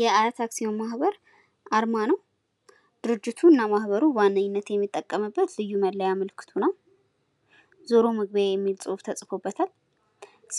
የአያት አክሲዮን ማህበር አርማ ነው። ድርጅቱ እና ማህበሩ በዋነኝነት የሚጠቀምበት ልዩ መለያ ምልክቱ ነው። ዞሮ መግቢያዬ የሚል ጽሁፍ ተጽፎበታል።